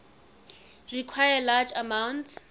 require large amounts